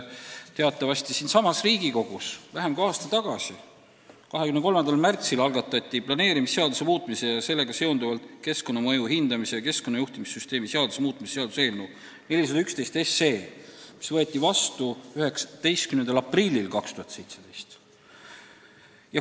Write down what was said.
Teatavasti siinsamas Riigikogus algatati vähem kui aasta tagasi, 23. märtsil planeerimisseaduse muutmise ning sellega seonduvalt keskkonnamõju hindamise ja keskkonnajuhtimissüsteemi seaduse muutmise seaduse eelnõu 411, mis võeti seadusena vastu 19. aprillil 2017.